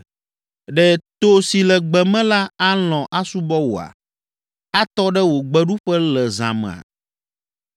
“Ɖe to si le gbe me la alɔ̃ asubɔ wòa? Atɔ ɖe wò gbeɖuƒe le zã mea?